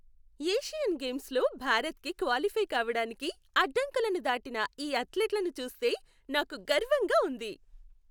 Asian గేమ్స్లో భారత్కి qualify కావడానికి అడ్డంకులను దాటిన ఈ అథ్లెట్లను చూస్తే నాకు గర్వంగా ఉంది